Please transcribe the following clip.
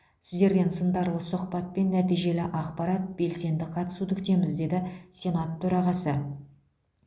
сіздерден сындарлы сұхбат пен нәтижелі ақпарат белсенді қатысуды күтеміз деді сенат төрағасы